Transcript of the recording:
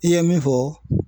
I ye min fɔ